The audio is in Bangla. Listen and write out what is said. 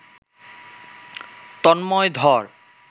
তন্ময় ধর